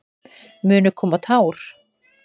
Munu koma tár?